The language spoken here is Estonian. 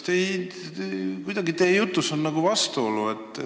Teie jutus on nagu vastuolu.